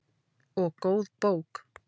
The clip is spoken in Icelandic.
Og góð bók.